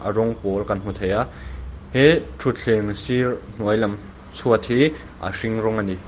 rawng pawl kan hmu theia he thutthleng sir hnuai lam chhuat hi a hring rawng ani.